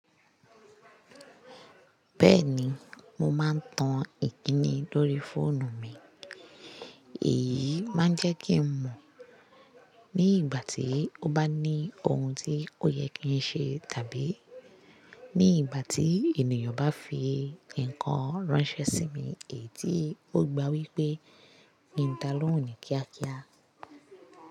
Bẹ́ẹ̀ni, mo máa ń tan Ìkíni lórí fóònù mi, èyí máa ń jẹ́ kí n mọ̀ ní ìgbà tí ó bá ní ohun tí ó yẹ kí n ṣe tàbí ní ìgbà tí ènìyàn bá fi nǹkan ránṣẹ́ sí mi èyí tí ó gba wípé ki ń da lóhùn ni kíákíá.